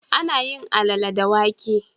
Ana yin Alalle da wake.